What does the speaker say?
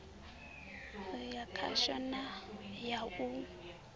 ya khasho na ya u